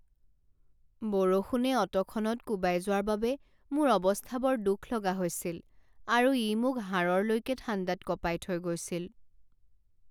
বৰষুণে অটোখনত কোবাই যোৱাৰ বাবে মোৰ অৱস্থা বৰ দুখলগা হৈছিল আৰু ই মোক হাড়ৰলৈকে ঠাণ্ডাত কঁপাই থৈ গৈছিল।